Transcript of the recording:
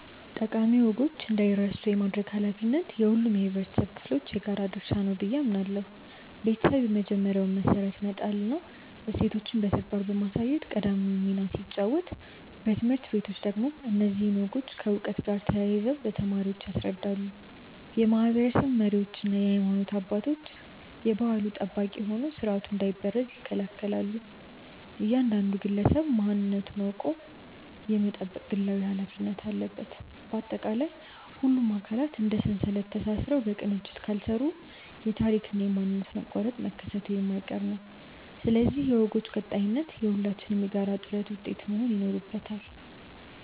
ጠቃሚ ወጎች እንዳይረሱ የማድረግ ኃላፊነት የሁሉም የኅብረተሰብ ክፍሎች የጋራ ድርሻ ነው ብዬ አምናለሁ። ቤተሰብ የመጀመሪያውን መሠረት በመጣልና እሴቶችን በተግባር በማሳየት ቀዳሚውን ሚና ሲጫወት፣ ትምህርት ቤቶች ደግሞ እነዚህን ወጎች ከዕውቀት ጋር አያይዘው ለተማሪዎች ያስረዳሉ። የማኅበረሰብ መሪዎችና የሃይማኖት አባቶች የባሕሉ ጠባቂ ሆነው ሥርዓቱ እንዳይበረዝ ይከላከላሉ፤ እያንዳንዱ ግለሰብም ማንነቱን አውቆ የመጠበቅ ግላዊ ኃላፊነት አለበት። ባጠቃላይ፣ ሁሉም አካላት እንደ ሰንሰለት ተሳስረው በቅንጅት ካልሠሩ የታሪክና የማንነት መቋረጥ መከሰቱ የማይቀር ነው፤ ስለዚህ የወጎች ቀጣይነት የሁላችንም የጋራ ጥረት ውጤት መሆን ይኖርበታል።